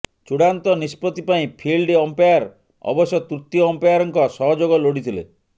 ଚୂଡ଼ାନ୍ତ ନିଷ୍ପତ୍ତି ପାଇଁ ଫିଲ୍ଡ ଅମ୍ପାୟାର ଅବଶ୍ୟ ତୃତୀୟ ଅମ୍ପାୟାରଙ୍କ ସହଯୋଗ ଲୋଡ଼ିଥିଲେ